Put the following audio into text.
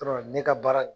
Dɔrɔn ne ka baara